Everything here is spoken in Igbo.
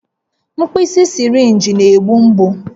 Mkpịsị sịrịnjị na-egbu mgbu